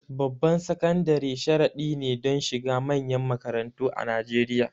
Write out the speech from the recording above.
Babban sakandare sharadi ne don shiga manyan makarantu a Najeriya.